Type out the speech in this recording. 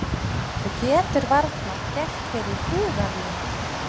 Þú getur varla gert þér í hugarlund.